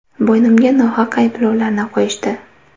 Bo‘ynimga nohaq ayblovlarni qo‘yishdi.